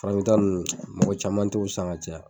Farafin ta nunnu, mɔgɔ caman t'o san ka caya.